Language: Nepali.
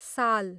साल